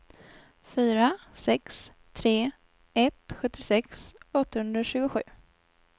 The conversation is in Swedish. fyra sex tre ett sjuttiosex åttahundratjugosju